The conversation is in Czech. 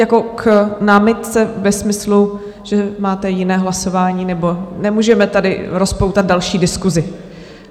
Jako k námitce ve smyslu, že máte jiné hlasování nebo nemůžeme tady rozpoutat další diskusi.